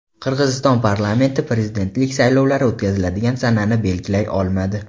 Qirg‘iziston parlamenti prezidentlik saylovlari o‘tkaziladigan sanani belgilay olmadi.